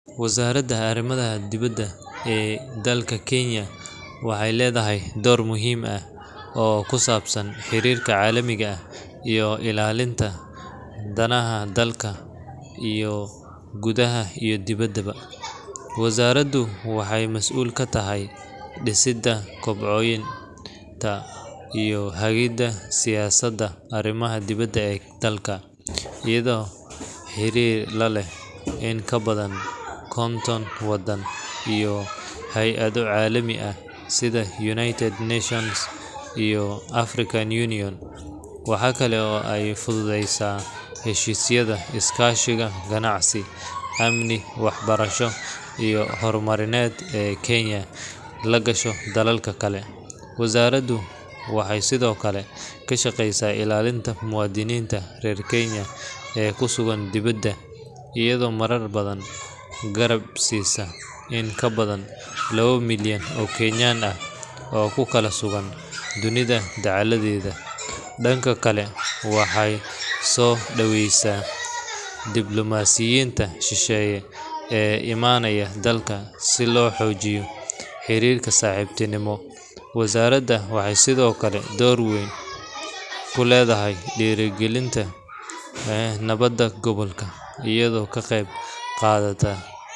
Wasaaradda Arrimaha Dibadda ee dalka Kenya waxay leedahay door muhiim ah oo ku saabsan xiriirka caalamiga ah iyo ilaalinta danaha dalka gudaha iyo dibaddaba. Wasaaraddu waxay mas'uul ka tahay dhisidda, kobcinta iyo hagidda siyaasadda arrimaha dibadda ee dalka, iyadoo xiriir la leh in ka badan konton waddan iyo hay’ado caalami ah sida United Nations iyo African Union. Waxa kale oo ay fududeysaa heshiisyada iskaashiga ganacsi, amni, waxbarasho iyo horumarineed ee Kenya la gasho dalalka kale. Wasaaraddu waxay sidoo kale ka shaqeysaa ilaalinta muwaadiniinta reer Kenya ee ku sugan dibadda, iyadoo marar badan garab siisa in ka badan laba milyan oo Kenyan ah oo ku kala sugan dunida dacaladeeda. Dhanka kale, waxay soo dhaweysaa diblomaasiyiinta shisheeye ee imaanaya dalka si loo xoojiyo xiriirka saaxiibtinimo. Wasaaraddan waxay sidoo kale door weyn ku leedahay dhiirrigelinta nabadda gobolka, iyadoo ka qeyb qaadata.